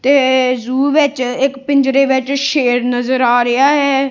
ਤੇ ਜ਼ੂ ਵਿੱਚ ਇੱਕ ਪਿੰਜਰੇ ਵਿੱਚ ਸ਼ੇਰ ਨਜ਼ਰ ਆ ਰਿਹਾ ਹੈ।